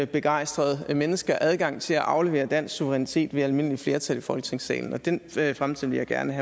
begejstrede mennesker adgang til at aflevere dansk suverænitet ved almindeligt flertal i folketingssalen og den fremtid vil jeg gerne